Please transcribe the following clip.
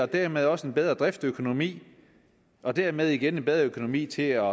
dermed også en bedre driftsøkonomi og dermed igen en bedre økonomi til at